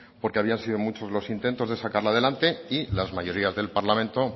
porque habían sido muchos los intentos de sacarla adelante y las mayorías del parlamento